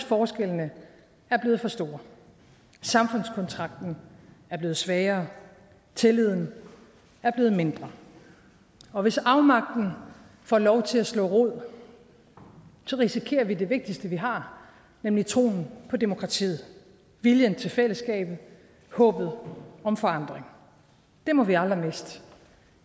forskellene er blevet for store samfundskontrakten er blevet svagere tilliden er blevet mindre og hvis afmagten får lov til at slå rod risikerer vi det vigtigste vi har nemlig troen på demokratiet viljen til fællesskabet håbet om forandring det må vi aldrig miste